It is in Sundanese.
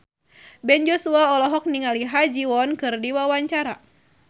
Ben Joshua olohok ningali Ha Ji Won keur diwawancara